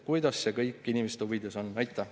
Kuidas see kõik inimeste huvides on?